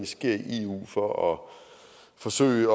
sker i eu for at forsøge